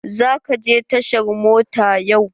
Za ka je tashar mota yau?